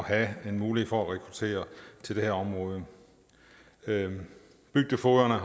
at have mulighed for at rekruttere til det her område bygdefogederne er